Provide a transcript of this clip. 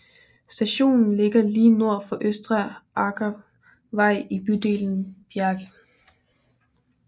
Stationen ligger lige nord for Østre Aker vei i bydelen Bjerke